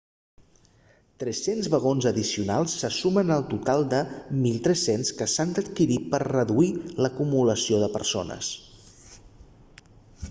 300 vagons addicionals se sumen al total de 1.300 que s'han d'adquirir per reduir l'acumulació de persones